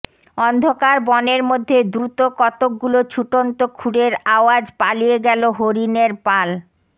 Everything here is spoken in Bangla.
অন্ধকার বনের মধ্যে দ্রুত কতকগুলো ছুটন্ত খুরের আওয়াজ পালিয়ে গেল হরিণের পালা